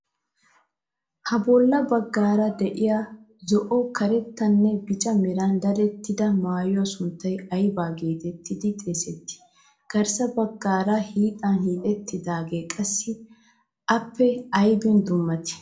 Ha bolla baggaara de'iya zo"o,karettanne bica meran dadettida maayuwa sunttay ayba geetettidi xeesettii? Garssa baggaara hiixan hiixettidaage qassi appe aybin dummatii?